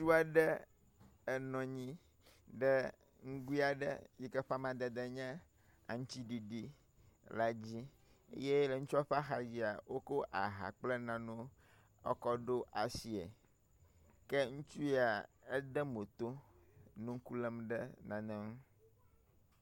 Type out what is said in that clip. Ŋutsu aɖe enɔ nyi ɖe nugui aɖe yike ƒe amadede nye aŋutiɖiɖi la dzi eye le ŋutsua ƒe axadzia wokɔ aha kple naɖewo kɔkɔ ɖo asie. Ke ŋutsu yia ede mo to nɔ ŋkulem ɖe nane ŋu.